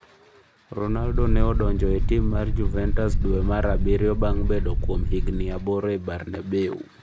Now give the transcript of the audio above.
Ronaldo ne odonjo e tim mar Juventus duwe mar Abiriyo bang' bedo kuom higni aboro e Bernabeu.